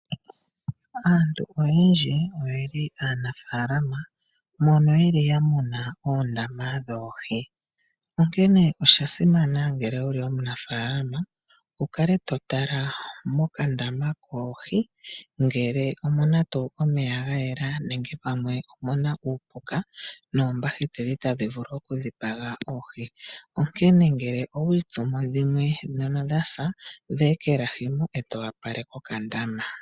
Aantu oyendji oyeli aanafaalama mono yeli yamuna oohi moondama onkene oshasimana ngele wuli omunafaalama wukale totala mokandama koohi ngele omuna tuu omeya gayela nenge pamwe omuna uupuka noombahiteli tadhi vulu okudhipaga oohi. Onkene ngele owi itsumo dhimwe ndhono dhasa dhi ekelahi eto opaleke okandama.